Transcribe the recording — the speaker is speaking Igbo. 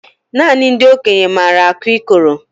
Nanị ndị okenye maara akụ ikoro